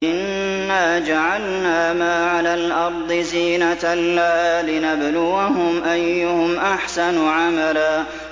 إِنَّا جَعَلْنَا مَا عَلَى الْأَرْضِ زِينَةً لَّهَا لِنَبْلُوَهُمْ أَيُّهُمْ أَحْسَنُ عَمَلًا